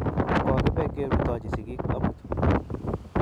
Kokipe kerutochi sigik amut